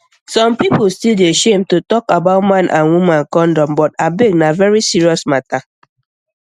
some people still dey shame to talk about man and woman condom but abeg na very serious matter